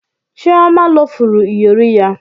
Chioma lufuru iyori ya